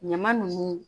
Ɲama nunnu